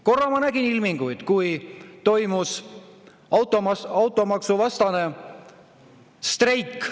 Korra ma nägin selle ilmingut, kui toimus automaksuvastane streik.